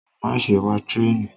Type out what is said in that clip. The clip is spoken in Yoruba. gharaun to add